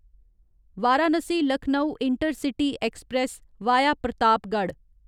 Varanasi Lucknow intercity express via Pratapgarh